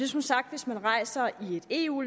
som sagt hvis man rejser i et eu